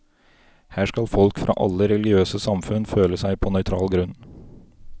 Her skal folk fra alle religiøse samfunn føle seg på nøytral grunn.